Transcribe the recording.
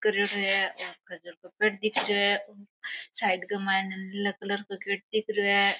कर रियो है और घर दिख रेहो है साइड का माइने नीलो कलर को गेट दिख रेहो है।